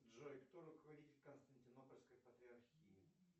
джой кто руководитель константинопольской патриархии